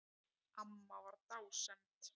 Amma var dásemd.